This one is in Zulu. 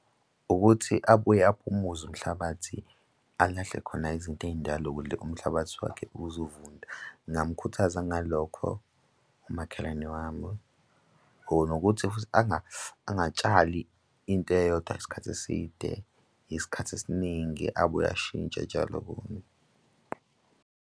Ukuthi abuye uphumuze umhlabathi, alahle khona izinto ey'ndala ukuze umhlabathi wakhe uzovunda. Ngingamkhuthaza ngalokho umakhelwane wami or nokuthi futhi angatshali into eyodwa isikhathi eside isikhathi esiningi abuye ashintshe atshale okunye.